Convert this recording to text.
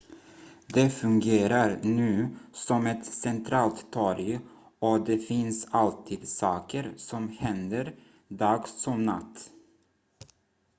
det fungerar nu som ett centralt torg och det finns alltid saker som händer dag som natt